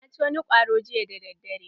Na ci wani kwaro jiya dadadare.